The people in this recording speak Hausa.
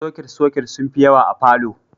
Soket-soket sun fi yawa a falo.